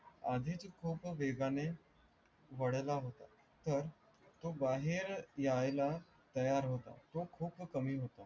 आधीच खूप वेगाने वळला होता तर तो बाहेर याला तयार तो खूप कमी होता.